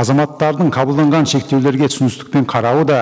азаматтардың қабылданған шектеулерге түсіністікпен қарауы да